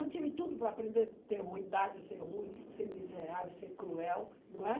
Eu tive tudo para aprender a ter ruindade, ser ruim, ser miserável, ser cruel, não é?